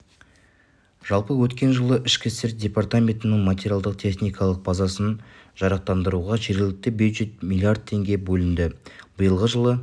жалпы өткен жылы ішкі істер департаментінің материалдық-техникалық базасын жарақтандыруға жергілікті бюджеттен млрд теңге бөлінді биылғы жылы